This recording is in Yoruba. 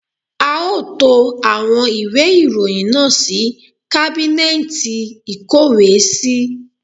A ó to àwọn ìwé ìròyìn náà sí kábínẹ́ẹẹ̀tì ìkówèésí